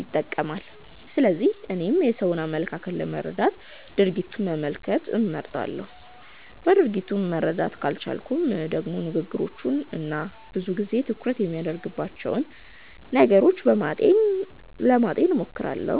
ይጠቀማል። ስለዚህ እኔም የሰውን አመለካከት ለመረዳት ድርጊቱን መመልከት እመርጣለሁ። በድርጊቱ መረዳት ካልቻልኩም ደግሞ ንግግሮቹን እና ብዙ ጊዜ ትኩረት የሚያደርግባቸውን ነገሮች ለማጤን እሞክራለሁ።